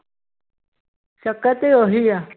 ਚੱਕਰ ਤੇ ਉਹੀ ਹੈ।